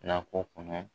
Nakɔ kɔnɔ